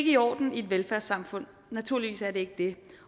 i orden i et velfærdssamfund naturligvis er det ikke det